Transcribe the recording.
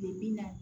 Bi bi in na